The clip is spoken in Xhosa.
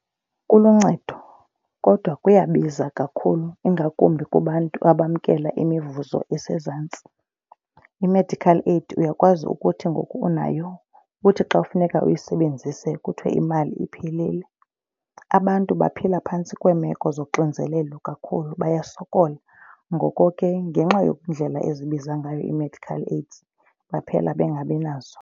Kuluncedo kodwa kuyabiza kakhulu ingakumbi kubantu abamkela imivuzo esezantsi. I-medical aid uyakwazi ukuthi ngoku unayo uthi xa kufuneka uyisebenzise kuthiwe imali iphilile. Abantu baphila phantsi kweemeko zoxinzelelo kakhulu, bayasokola ngoko ke ngenxa yeendlela ezibiza ngayo ii-medical aid baphela bengabi nazo.